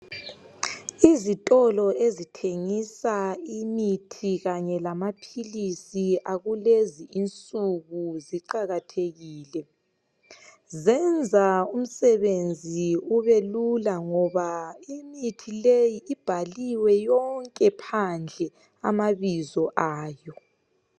Izitolo ezithengisa imithi kanye lamaphilisi akulezi insuku ziqakathekile, zenza umsebenzi ubelula ngoba imithi leyi ibhaliwe yonke phandle amabizo ayo.